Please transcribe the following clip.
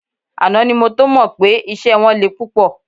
Àná ni mo tó mọ pé iṣẹ́ wọn le púpọ̀